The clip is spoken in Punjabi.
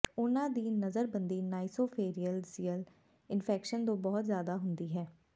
ਉਹਨਾਂ ਦੀ ਨਜ਼ਰਬੰਦੀ ਨਾਈਸੋਫੇਰੀਨੋਜੀਅਲ ਇਨਫੈਕਸ਼ਨ ਤੋਂ ਬਹੁਤ ਜ਼ਿਆਦਾ ਹੁੰਦੀ ਹੈ